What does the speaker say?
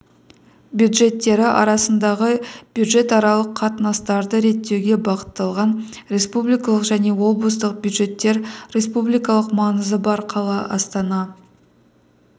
бюджеттері арасындағы бюджетаралық қатынастарды реттеуге бағытталған республикалық және облыстық бюджеттер республикалық маңызы бар қала астана